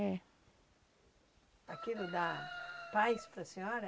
É. Aquilo dá paz para a senhora?